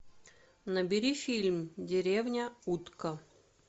набери фильм деревня утка